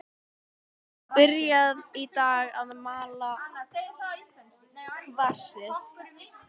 Byrjað í dag að mala kvarsið.